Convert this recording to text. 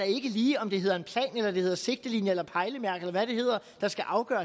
ikke lige om det hedder en plan eller det hedder sigtelinjer eller pejlemærker eller hvad det hedder der skal afgøre